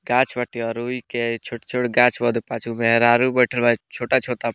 गाछ बाटे और रुई के छोट-छोट गाछ बा उधर पाँच गो मेहरारू बइठल बा छोटा-छोटा --